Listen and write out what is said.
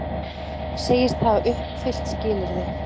Segjast hafa uppfyllt skilyrði